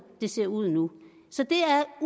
det ser ud nu så